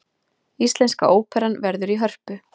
Íslenska óperan verður í Hörpu